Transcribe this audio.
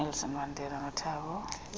nelson mandela nothabo